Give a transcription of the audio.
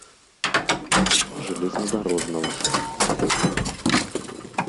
железнодорожного